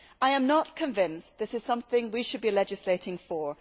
I am not convinced that this is something we should be legislating for.